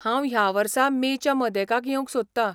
हांव ह्या वर्सा मे च्या मदेकाक येवंक सोदतां .